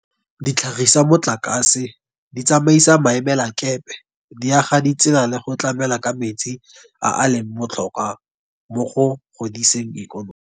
Di tlhagisa motlakase, di tsamaisa maemelakepe, di aga ditsela le go tlamela ka metsi a a leng botlhokwa mo go godiseng ikonomi.